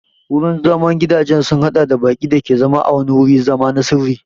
Gurin zaman gidajen sun haɗa da baƙi da ke zama a wani wurin zama na sirri.